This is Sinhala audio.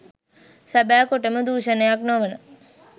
සැබෑ කොටම දූෂණයක් නොවන